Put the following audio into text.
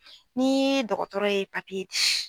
Ni dɔgɔtɔrɔ ye di